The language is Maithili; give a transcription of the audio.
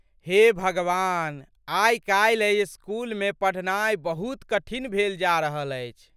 हे भगवान! आई काल्हि एहि स्कूलमे पढ़नाइ बहुत कठिन भेल जा रहल अछि।